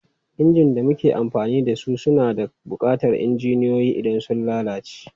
Injin da muke amfani da su suna buƙatar injiniyoyi idan sun lalace.